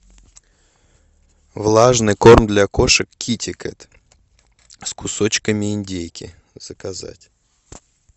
влажный корм для кошек китекат с кусочками индейки заказать